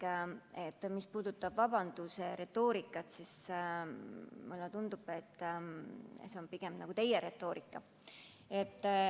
Hea Indrek, mis puudutab vabanduse retoorikat, siis mulle tundub, et see on pigem nagu teie retoorika.